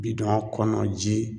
Bidɔn kɔnɔ ji